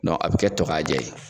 Dɔnku a bɛ kɛ to k'a jɛ ye.